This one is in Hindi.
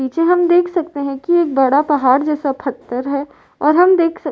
पीछे हम देख सकते हैं कि एक बड़ा पहाड़ जैसा पत्थर है और हम देख सक --